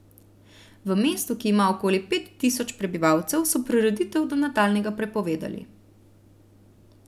V mestu, ki ima okoli pet tisoč prebivalcev, so prireditev do nadaljnjega prepovedali.